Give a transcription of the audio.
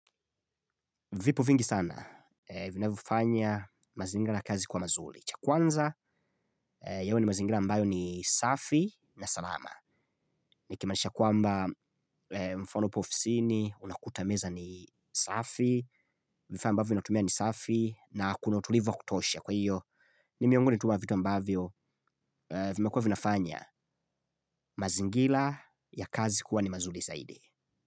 Vipo vingi sana vinavyofanya mazingira ya kazi kwa mazuri. Cha kwanza yawe ni mazingira ambayo ni safi na salama. Nikimaanisha kwamba mfano hapo ofisini unakuta meza ni safi, vifaa ambavyo ni atumia ni safi na kuna utulivo wa kutosha. Kwa hiyo, ni miongoni tu wa vitu ambavyo vimekua vinafanya mazingira ya kazi kuwa ni mazuri zaidi.